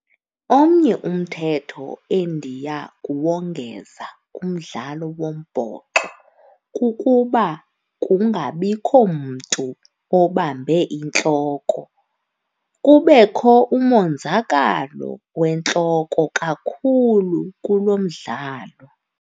Omnye umthetho endiya kuwongeza kumdlalo wombhoxo kukuba kungabikho mntu obambe intloko, kubekho umonzakalo wentloko kakhulu kulo mdlalo.